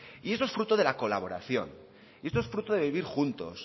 y esto es fruto de la colaboración y esto es fruto de vivir juntos